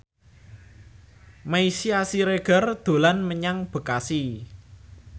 Meisya Siregar dolan menyang Bekasi